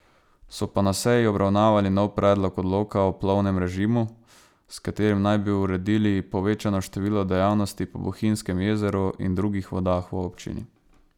So pa na seji obravnavali nov predlog odloka o plovbnem režimu, s katerim naj bi uredili povečano število dejavnosti po Bohinjskem jezeru in drugih vodah v občini.